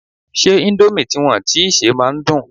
Ṣé indomie tí wọn tíi sè máa ń dùn?